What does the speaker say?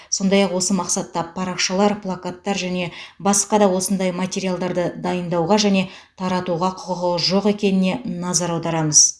сондай ақ осы мақсатта парақшалар плакаттар және басқа да осындай материалдарды дайындауға және таратуға құқығы жоқ екеніне назар аударамыз